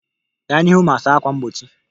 Gaa n'ihu ma saa ákwà mgbochi